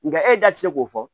Nga e da ti se k'o fɔ